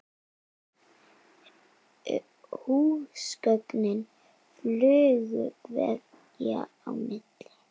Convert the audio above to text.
Húsgögn flugu veggja á milli.